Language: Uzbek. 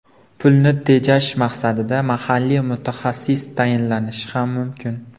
Pulni tejash maqsadida mahalliy mutaxassis tayinlanishi ham mumkin.